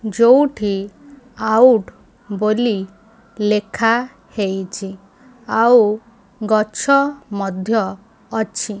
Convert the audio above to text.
ଯୋଉଠି ଆଉଟ୍ ବୋଲି ଲେଖା ହେଇଛି ଆଉ ଗଛ ମଧ୍ୟ ଅଛି।